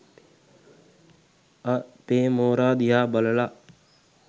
අ.පේ මෝරා දිහා බලලා